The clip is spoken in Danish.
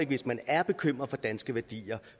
hvis man er bekymret for danske værdier og